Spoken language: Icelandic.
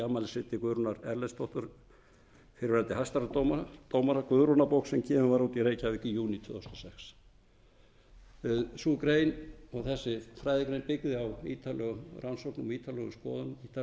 afmælisriti guðrúnar erlendsdóttur fyrrverandi hæstaréttardómara guðrúnarbók sem gefin var út í reykjavík í júní tvö þúsund og sex sú grein og þessi fræðigrein byggði á ítarlegum rannsóknum og ítarlegum skoðunum ítarlegum viðtölum við fjölda